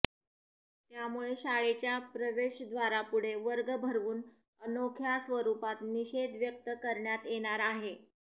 त्यामुळे शाळेच्या प्रवेशद्वारापुढे वर्ग भरवून अनोख्या स्वरुपात निषेध व्यक्त करण्यात येणार आहे